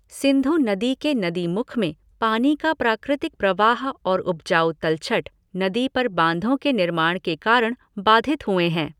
सिंधु नदी के नदी मुख में पानी का प्राकृतिक प्रवाह और उपजाऊ तलछट, नदी पर बांधों के निर्माण के कारण बाधित हुए हैं।